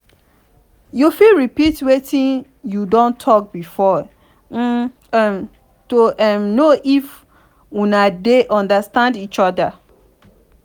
you fit repeat wetin you don talk before um to um know if una de understand each oda